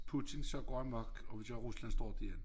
Putin så går amok og vi siger Rusland står dér